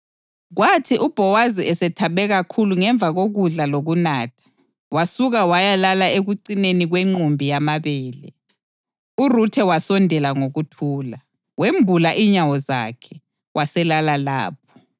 Kwathi uBhowazi esethabe kakhulu ngemva kokudla lokunatha, wasuka wayalala ekucineni kwenqumbi yamabele. URuthe wasondela ngokuthula, wembula inyawo zakhe, waselala lapho.